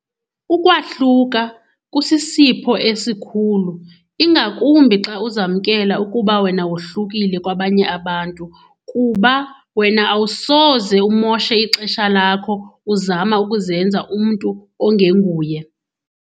Ukwahluka kusisipho esikhulu ingakumbi xa uzamkela ukuba wena wohlukile kwabanye abantu kuba wena awusoze umoshe ixesha lakho uzama ukuzenza umntu ongenguye.